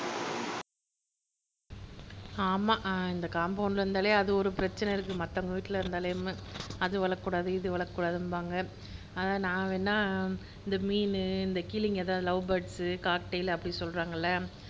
ஆமா இந்த காம்பவுண்ட்ல இருந்தாலே அது ஒரு பிரச்சனை இருக்குது மத்தவங்க வீட்ல இருந்தாலே நம்ம அது வளக்ககூடாது இது வளக்கக்கூடாதும்பாங்க அதான் நான் வேண்ணா இந்த மீனு கிளிங்க இந்த லவ் பேர்ட்ஸ், காக்டெய்ல்அப்படின்னு சொல்றாங்க இல்ல